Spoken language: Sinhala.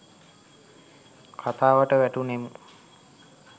කතාවට වැටුනෙමු.